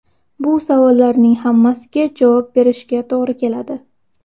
Bu savollarning hammasiga javob berishga to‘g‘ri keladi.